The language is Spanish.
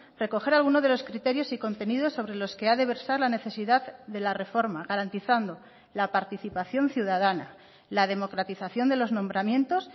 recoger alguno de los criterios y contenidos sobre los que ha de versar la necesidad de la reforma garantizando la participación ciudadana la democratización de los nombramientos